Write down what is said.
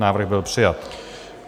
Návrh byl přijat.